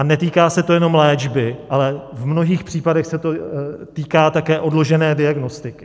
A netýká se to jenom léčby, ale v mnohých případech se to týká také odložené diagnostiky.